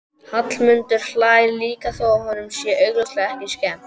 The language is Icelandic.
Hallmundur hlær líka þó að honum sé augljóslega ekki skemmt.